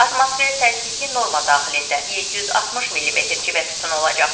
Atmosfer təzyiqi norma daxilində 760 millimetr civə sütunu olacaq.